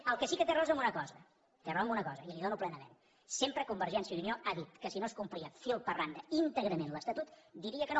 en el que sí que té raó és en una cosa té raó en una cosa i la hi dono plenament sempre convergència i unió ha dit que si no es complia fil per randa íntegrament l’estatut diria que no